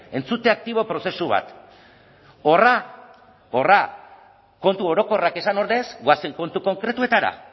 entzute aktibo prozesu bat horra horra kontu orokorrak esan ordez goazen kontu konkretuetara